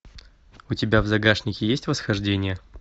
у тебя в загашнике есть восхождение